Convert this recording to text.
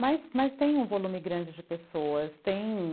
Mas mas tem um volume grande de pessoas, tem...